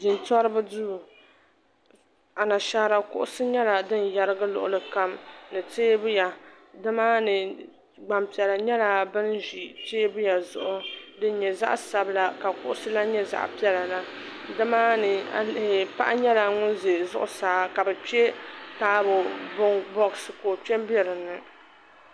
Jintoriba duu anashaara kuɣusi nyɛla di yerigi luɣuli kam ni teebuya nimaani gbampiɛla nyɛla ban ʒi teebuya zuɣu din nyɛ zaɣa sabila ka kuɣusi lee nyɛ zaɣa piɛla la nimaani paɣa nyɛla ŋun za zuɣusaa ka bɛ kpe taabo boɣasi ka o kpe m be dinni.